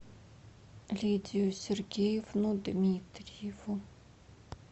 лидию сергеевну дмитриеву